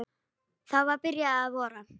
Það var byrjað að vora.